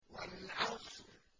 وَالْعَصْرِ